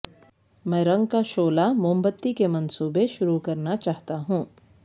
میں رنگ کا شعلہ موم بتی کے منصوبے شروع کرنا چاہتا ہوں